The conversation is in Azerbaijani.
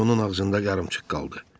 Söz onun ağzında yarımçıq qaldı.